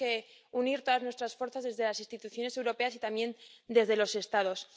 Tenemos que unir todas nuestras fuerzas desde las instituciones europeas y también desde los Estados.